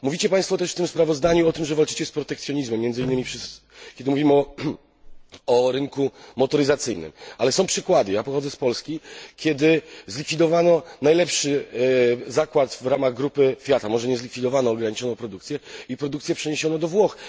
Mówicie Państwo też w tym sprawozdaniu o tym, że walczycie z protekcjonizmem, między innymi kiedy mówimy o rynku motoryzacyjnym, ale są przykłady ja pochodzę z Polski kiedy zlikwidowano najlepszy zakład w ramach grupy Fiata może nie zlikwidowano, ale ograniczono produkcję i produkcję przeniesiono do Włoch.